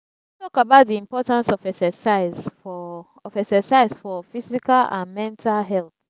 you fit talk about di importance of exercise for of exercise for physical and mental health?